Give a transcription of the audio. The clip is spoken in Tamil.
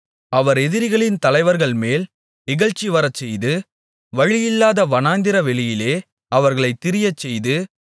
அவர் எதிரிகளின் தலைவர்கள்மேல் இகழ்ச்சிவரச்செய்து வழியில்லாத வனாந்திர வெளியிலே அவர்களைத் திரியச்செய்து